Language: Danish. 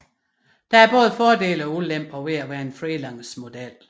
Der er både fordele og ulemper ved at være en freelance model